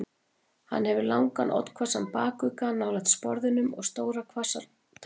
Hann hefur langan, oddhvassan bakugga nálægt sporðinum og stórar oddhvassar tennur.